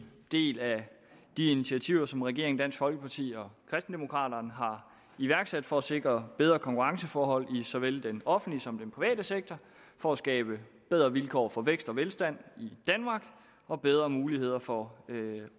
del af de initiativer som regeringen dansk folkeparti og kristendemokraterne har iværksat for at sikre bedre konkurrenceforhold i såvel den offentlige som den private sektor for at skabe bedre vilkår for vækst og velstand i danmark og bedre muligheder for